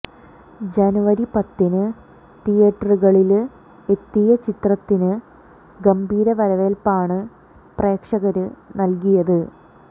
ജനുവരി പത്തിന് തീയ്യേറ്ററുകളില് എത്തിയ ചിത്രത്തിന് ഗംഭീര വരവേല്പ്പാണ് പ്രേക്ഷകര് നല്കിയത്